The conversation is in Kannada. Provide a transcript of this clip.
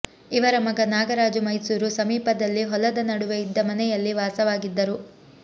ಇವರ ಮಗ ನಾಗರಾಜು ಮೈಸೂರು ಸಮೀಪದಲ್ಲಿ ಹೊಲದ ನಡುವೆ ಇದ್ದ ಮನೆಯಲ್ಲಿ ವಾಸವಾಗಿದ್ದರು